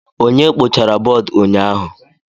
Onye kpochara bọọdụ ụnyaahụ?